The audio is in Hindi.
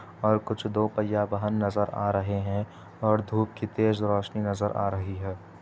और कुछ दो पहिया वाहन नज़र आ रहे हैं और धूप की तेज रोशनी नजर आ रही हैं |